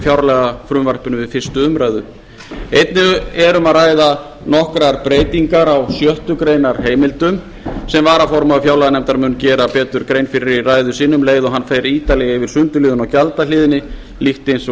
fjárlagafrumvarpinu við fyrstu umræðu einnig er um að ræða nokkrar breytingar á sjöttu grein heimildum sem varaformaður fjárlaganefndar mun betur gera grein fyrir í ræðu sinni um leið og hann fer ítarlega yfir sundurliðun á gjaldahliðinni líkt og